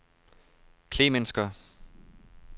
Klemensker